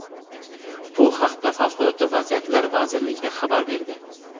bu haqda Favqulodda vaziyatlar vazirligi xabar berdi.